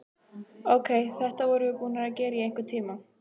Ókei, þetta vorum við búnar að gera í einhvern tíma.